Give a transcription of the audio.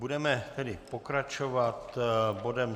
Budeme tedy pokračovat bodem